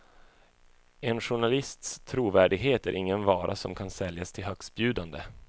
En journalists trovärdighet är ingen vara som kan säljas till högstbjudande.